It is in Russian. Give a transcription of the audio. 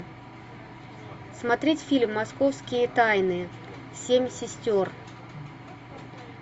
смотреть фильм московские тайны семь сестер